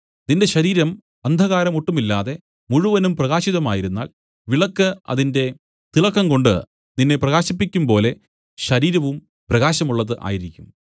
നിന്റെ ശരീരം അന്ധകാരം ഒട്ടുമില്ലാതെ മുഴുവനും പ്രകാശിതമായിരുന്നാൽ വിളക്കു അതിന്റെ തിളക്കംകൊണ്ട് നിന്നെ പ്രകാശിപ്പിക്കുംപോലെ ശരീരവും പ്രകാശമുള്ളത് ആയിരിക്കും